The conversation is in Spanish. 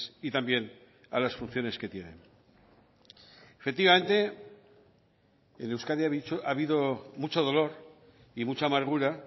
y también a las funciones que tienen efectivamente en euskadi ha habido mucho dolor y mucha amargura